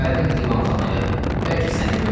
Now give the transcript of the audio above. Gəldim divanxanaya, bəlkə səni görüm.